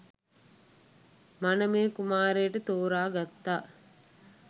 මනමේ කුමාරයාට තෝරා ගත්තා